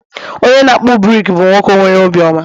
onye na-akpụ brik bụ nwoke nwere obiọma